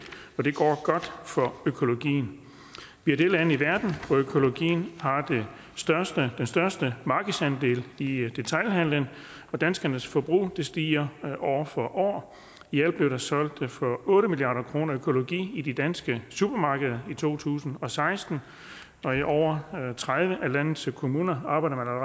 og det går godt for økologien vi er det land i verden hvor økologien har den største største markedsandel i detailhandelen og danskernes forbrug stiger år for år i alt blev der solgt for otte milliard kroner økologi i de danske supermarkeder i to tusind og seksten og i over tredive af landets kommuner arbejder man